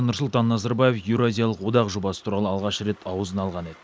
нұрсұлтан назарбаев еуразиялық одақ жобасы туралы алғаш рет аузына алған еді